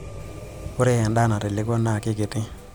ore edaa natelekua naakikiti